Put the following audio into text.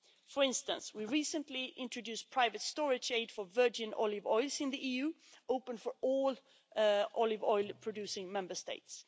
For instance, we recently introduced private storage aid for virgin olive oils in the EU, open for all olive oil producing Member States.